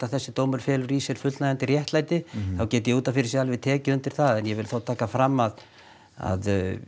þessi dómur feli í sér fullnægjandi réttlæti þá get ég út af fyrir sig alveg tekið undir það en ég vil þá taka fram að að